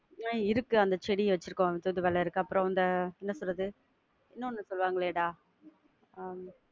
ஆஹ் இருக்கு, அந்த செடி வச்சிருக்கோம், அந்த தூதுவள இருக்கு. அப்புறம் அந்த என்ன சொல்றது, இன்னொன்னு சொல்லுவாங்களே டா, ஹம்